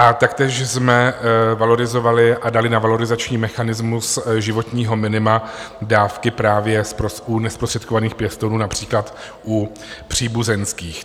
A taktéž jsme valorizovali a dali na valorizační mechanismus životního minima dávky právě u nezprostředkovaných pěstounů, například u příbuzenských.